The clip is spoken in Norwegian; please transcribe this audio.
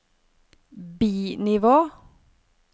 bi-nivå